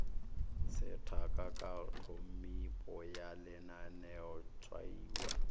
sethaka ka tphomipo ya lenaneotshwaiwa